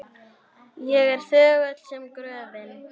Ég er þögull sem gröfin.